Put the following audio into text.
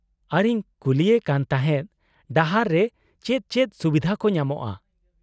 -ᱟᱨᱤᱧ ᱠᱩᱞᱤᱭᱮ ᱠᱟᱱ ᱛᱟᱦᱮᱫ ᱰᱟᱦᱟᱨ ᱨᱮ ᱪᱮᱫ ᱪᱮᱫ ᱥᱩᱵᱤᱫᱷᱟ ᱠᱚ ᱧᱟᱢᱚᱜᱼᱟ ᱾